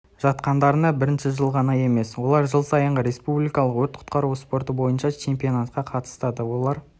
жатқандарына бірінші жылғана емес олар жыл сайынғы республикалық өрт құтқару спорты бойынша чемпионатқа қатысады олар